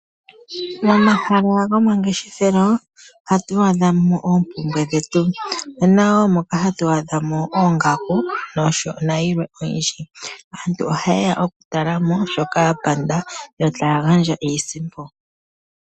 Momahala gomangeshefelo ohatu adha mo oompumbwe dhetu. omuna wo moka hatu adha mo oongaku nayilwe oyindji. Aantu oha yeya okutala mo shoka ya pumbwa yo taya gandja iisimpo.